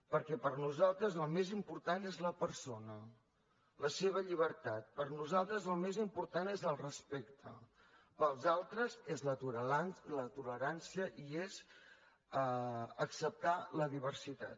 perquè per nosaltres el més important és la persona la seva llibertat per nosaltres el més important és el respecte pels altres és la tolerància i és acceptar la diversitat